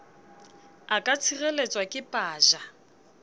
a ka tshireletswa ke paja